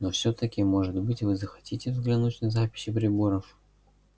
но всё-таки может быть вы захотите взглянуть на записи приборов